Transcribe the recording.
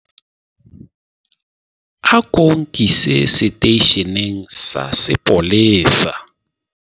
ako nkise seteisheneng sa sepolesa